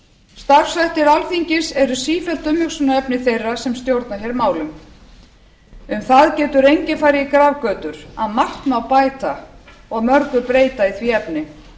starfshættir alþingis eru sífellt umhugsunarefni þeirra sem stjórna hér málum um það getur enginn farið í grafgötur að margt má bæta og mörgu breyta í því efni